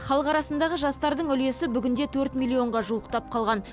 халық арасындағы жастардың үлесі бүгінде төрт миллионға жуықтап қалған